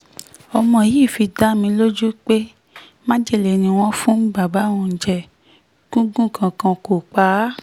ọmọ yìí fi dá mi lójú pé májèlé ni wọ́n fún bàbá òun jẹ́ gúngún kankan kó pa á